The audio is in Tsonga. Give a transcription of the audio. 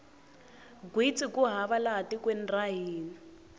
gwitsi ku hava laha tikweni ra hina